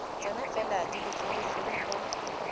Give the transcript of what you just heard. tsona fela di letleletsweng go